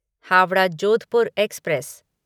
Howrah Jodhpur express